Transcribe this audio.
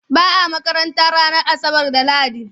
Ba a makaranta ranar Asabar da Lahadi.